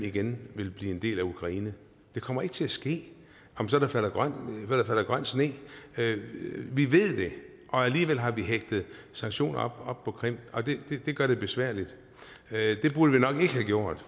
igen vil blive en del af ukraine det kommer ikke til at ske om så der falder grøn sne vi ved det og alligevel har vi hægtet sanktioner op på krim det gør det besværligt det burde vi nok ikke have gjort